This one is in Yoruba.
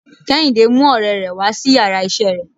Kehinde mú òrè rè wá sí íyarà iṣẹ re